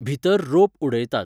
भितर ropeउडयतात.